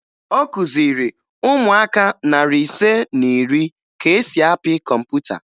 Ọ kụziri ụmụaka narị ise na iri ka e si apị kọmputa